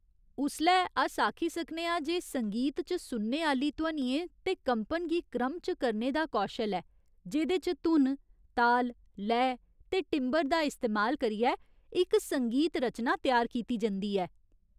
उसलै अस आखी सकने आं जे संगीत च सुनने आह्‌ली ध्वनियें ते कंपन गी क्रम च करने दा कौशल ऐ जेह्दे च धुन, ताल, लय ते टिंबर दा इस्तेमाल करियै इक संगीत रचना त्यार कीती जंदी ऐ।